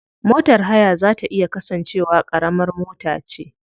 Motar haya za ta iya kasance wa karamar mota ce.